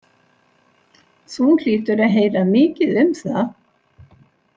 Þú hlýtur að heyra mikið um það?